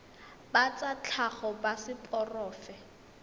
ba tsa tlhago ba seporofe